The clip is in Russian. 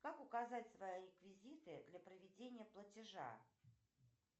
как указать свои реквизиты для проведения платежа